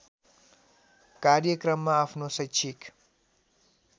कार्यक्रममा आफ्नो शैक्षिक